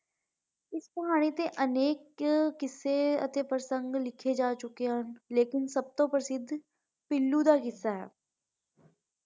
ਇਸ ਕਹਾਣੀ ਤੇ ਅਨੇਕ ਕਿੱਸੇ ਥੇ ਪ੍ਰਸੰਦ ਲਿਖੇ ਜਾ ਚੁਕੇ ਨੇ ਲੇਕਿਨ ਸਬ ਤੋਂ ਪ੍ਰਸਿੱਧ ਪੀਲੂ ਦਾ ਹਿੱਸਾ ਹੈ।